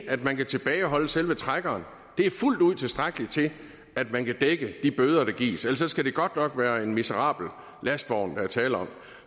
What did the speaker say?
at man kan tilbageholde selve trækkeren er fuldt ud tilstrækkeligt til at man kan dække de bøder der gives ellers skal det godt nok være en miserabel lastvogn der er tale om